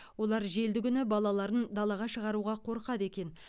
олар желді күні балаларын далаға шығаруға қорқады екен